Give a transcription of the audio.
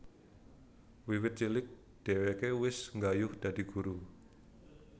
Wiwit cilik dhèwèké wis nggayuh dadi guru